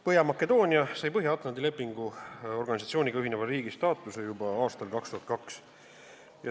Põhja-Makedoonia sai Põhja-Atlandi Lepingu Organisatsiooniga ühineva riigi staatuse juba aastal 2002.